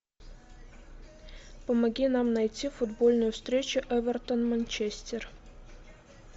помоги нам найти футбольную встречу эвертон манчестер